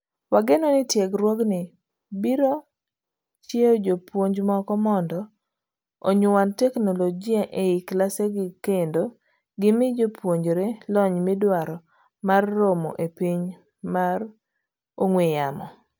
Wageno ni tiegruogni biro chiewo jopuonj moko mondo onyuand teknologia ei kilesegikendo gimii jopuonjre lony midwaro mar romo e piny mar ong'ue yamo.